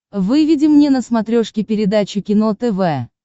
выведи мне на смотрешке передачу кино тв